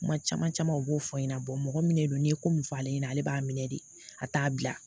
Kuma caman camanw u b'o fɔ ɲɛna mɔgɔ min de don n'i ye ko min fɔ ale ɲɛna ale b'a minɛ de a t'a bila